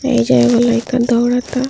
एइजा एगो लइका दौड़ ता।